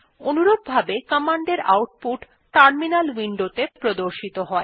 অনুরূপভাবে কমান্ডের output terminal উইন্ডোত়ে প্রদর্শিত হয়